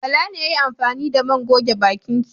Bala ne ya yi amfani da man goge bakin ki.